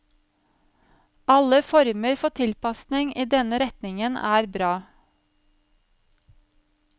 Alle former for tilpasning i denne retningen er bra.